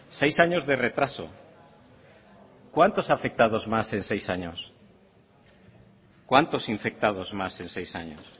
seis años de retraso cuántos afectados más en seis años cuántos infectados más en seis años